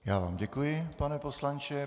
Já vám děkuji, pane poslanče.